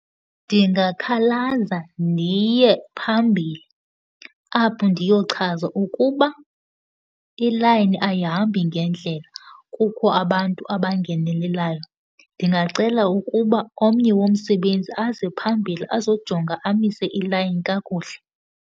Ndingakhalaza, ndiye phambili apho ndiyochaza ukuba ilayini ayihambi ngendlela, kukho abantu abangenelelayo. Ndingacela ukuba omnye womsebenzi aze phambili, azojonga, amise ilayini kakuhle.